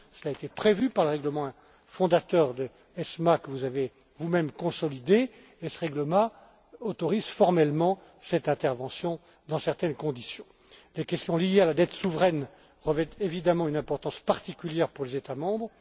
cela a été prévu par le règlement fondateur de l'ESMA que vous avez vous même consolidé et ce règlement autorise formellement cette intervention dans certaines conditions. Les questions liées à la dette souveraine revêtent évidemment une importance particulière pour les États membres.